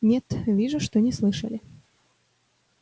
нет вижу что не слышали